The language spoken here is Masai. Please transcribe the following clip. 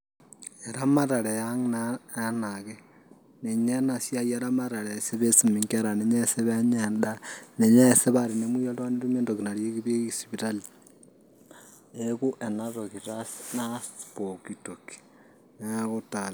erematare naa ang' ena enake. ninye ena ramatare eesi pee eisumi nkera, ninye eesi pee enyae edaa, niyeesi paa tenemuoi oltungani netui entoki nareyieki sipitali. neeku enatoki taa naas pooki toki. neeku taa lelo.